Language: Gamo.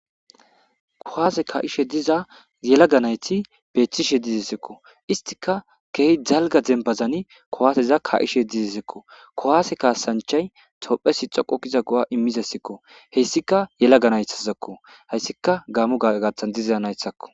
kowaase ka7ishe diza yela ganayti beeththishe dizesekko istika key dalga zembazani kowaaseza ka7ishe dizesekko kowaase kaasanchay topphe si xoqokiza go7a immizesekko heyssika yelaganaythazakko heyssika gaamu gagathan dizezanaythakko